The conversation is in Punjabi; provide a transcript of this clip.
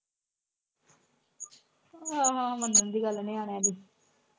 ਹਮ ਮੰਨਣ ਦੀ ਗੱਲ ਆ ਨਿਆਣਿਆਂ ਦੀ